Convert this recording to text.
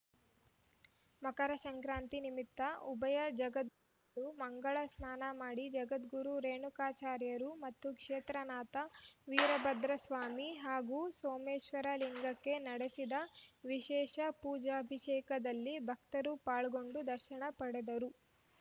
ಮಕರ ಸಂಕ್ರಾಂತಿ ನಿಮಿತ್ತ ಉಭಯ ಜಗದ್ಗುರುಗಳು ಮಂಗಲ ಸ್ನಾನ ಮಾಡಿ ಜಗದ್ಗುರು ರೇಣುಕಾಚಾರ್ಯರು ಮತ್ತು ಕ್ಷೇತ್ರನಾಥ ವೀರಭದ್ರಸ್ವಾಮಿ ಹಾಗೂ ಸೋಮೇಶ್ವರ ಲಿಂಗಕ್ಕೆ ನಡೆಸಿದ ವಿಶೇಷ ಪೂಜಾಭಿಷೇಕದಲ್ಲಿ ಭಕ್ತರು ಪಾಲ್ಗೊಂಡು ದರ್ಶನ ಪಡೆದರು